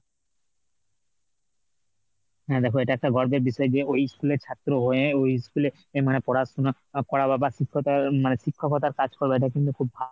হ্যাঁ দেখো এটা একটা গর্বের বিষয় যে ওই school এর ছাত্র হয়ে ওই school এ অ্যাঁ মানে পড়াশুনা করা বা বা শিক্ষকতা মানে শিক্ষকতার কাজ করবা এটা কিন্তু খুব ভা